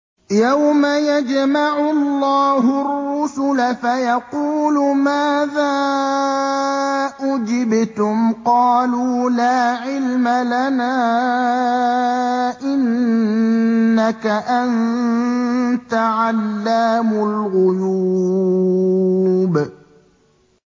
۞ يَوْمَ يَجْمَعُ اللَّهُ الرُّسُلَ فَيَقُولُ مَاذَا أُجِبْتُمْ ۖ قَالُوا لَا عِلْمَ لَنَا ۖ إِنَّكَ أَنتَ عَلَّامُ الْغُيُوبِ